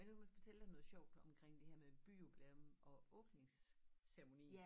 Og så lad mig fortælle dig noget sjovt omkring det her med byjubilæum og åbningsceremonien